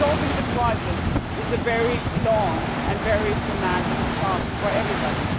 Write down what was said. Solving the crisis is a very long and very demanding task for everybody.